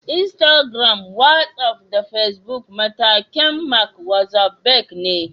Instagram, Wasaf da Fesbuk mallakin "Mark Zuckerberg" ne.